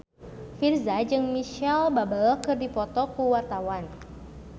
Virzha jeung Micheal Bubble keur dipoto ku wartawan